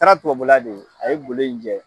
taara tubabula de o a ye golo in jɛ.